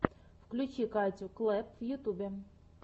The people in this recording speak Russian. включи катю клэпп в ютьюбе